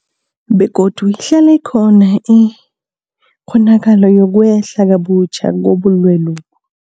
Begodu ihlala ikhona ikghonakalo yokwehla kabutjha kobulwelobu.